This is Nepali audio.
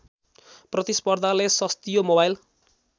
प्रतिस्पर्धाले सस्तियो मोबाइल